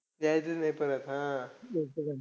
यायचंच नाही परत हा.